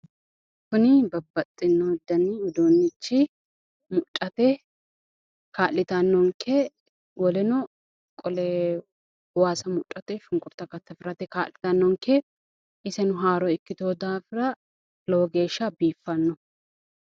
Kuni babbaxino dani uddunichi mudhate kaali'tanonnke, wolenno qole waasa mudhate shunikurta kataffirate kaali'tanonnke, iseno haaro ikitino daafira lowo geesha biiffano.